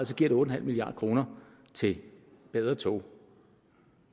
så giver det otte milliard kroner til bedre tog